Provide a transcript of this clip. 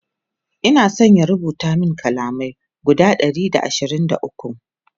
Ina San ya rubuta min kalamai guda Ɗari da ashirin da ukwu